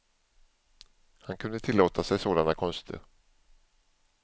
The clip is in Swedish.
Han kunde tillåta sig sådana konster.